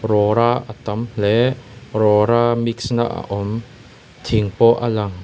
rawra a tam hle rawra mix na a awm thing pawh a lang.